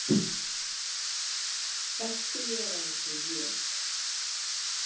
Ekki vera eins og ég